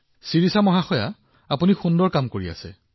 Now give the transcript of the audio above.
শিৰিষা জী আপুনি উৎকৃষ্ট কাম কৰি আছে